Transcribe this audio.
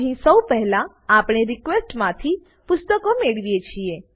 અહીં સૌ પહેલા આપણે રિક્વેસ્ટ માંથી પુસ્તકો મેળવીએ છીએ